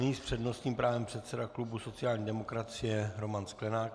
Nyní s přednostním právem předseda klubu sociální demokracie Roman Sklenák.